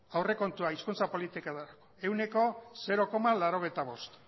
aurrekontua hizkuntza politika delako ehuneko zero koma laurogeita bost